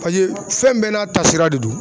pase fɛn bɛɛ n'a ta sira de don